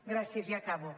gràcies ja acabo